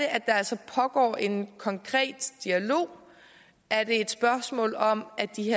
at der altså pågår en konkret dialog er det et spørgsmål om at de